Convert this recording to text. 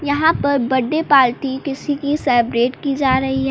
यहां पर birthday party किसी की सेब्रेट की जा रही है।